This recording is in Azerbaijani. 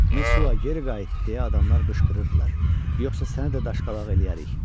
Mesua, geri qayıt! – deyə adamlar qışqırırdılar, yoxsa səni də daşqalaq eləyərik.